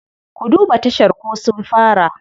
Ku duba tashar ko sun fara.